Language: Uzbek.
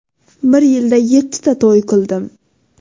Bir yilda yettita to‘y qildim.